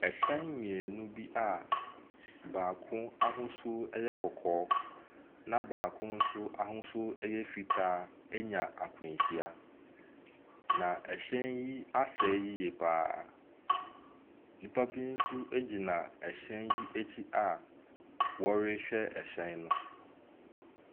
Ahyɛn mmienu bi a baako ahosuo yɛ kɔkɔɔ na baako nso ahosuo yɛ fitaa anya akwanhyia, na ahyɛn yi asɛe yie pa ara. Nnipa bi nso gyina hyɛn yi akyi a wɔrehwɛ hyɛn no.